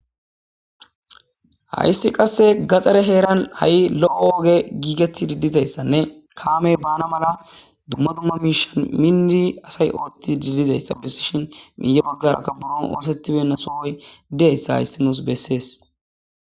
Hayssi qasse gaxare heeran ha7i lo7o woge giigeti didizayssanne kaamey bana mala dumma dumma miishan mindi asay oothti didizayssa bissishin miiye baggarakka buro oosetibenna soohoy didayssa hayssi nuus bessees.